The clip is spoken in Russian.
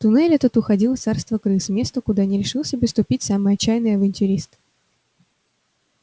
туннель этот уходил в царство крыс место куда не решился бы ступить самый отчаянный авантюрист